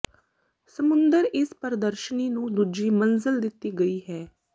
ਸਮੁੰਦਰ ਇਸ ਪ੍ਰਦਰਸ਼ਨੀ ਨੂੰ ਦੂਜੀ ਮੰਜ਼ਲ ਦਿੱਤੀ ਗਈ ਹੈ